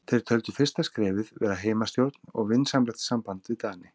Þeir töldu fyrsta skrefið vera heimastjórn og vinsamlegt samband við Dani.